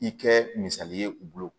I kɛ misali ye u bolo